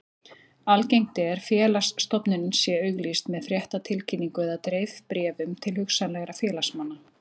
Algengt er félagsstofnunin sé auglýst með fréttatilkynningu eða dreifibréfum til hugsanlegra félagsmanna.